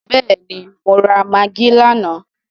Bẹ́ẹ̀ni, mo rà magí lánàá.